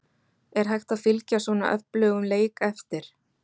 Er hægt að fylgja svona öflugum leik eftir?